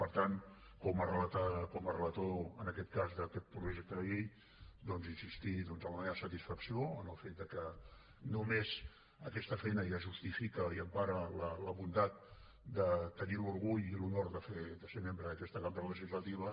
per tant com a relator en aquest cas d’aquest projecte de llei doncs insistir en la meva satisfacció en el fet de que només aquesta feina ja justifica i empara la bondat de tenir l’orgull i l’honor de ser membre d’aquesta cambra legislativa